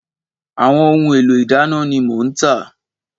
Àwọn ohun èlò ìdáná ni mò ń tà